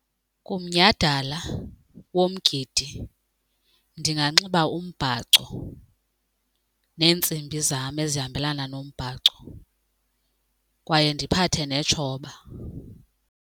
Kumnyhadala womgidi ndinganxiba umbhaco neentsimbi zam ezihambelana nombhaco kwaye ndiphathe netshoba.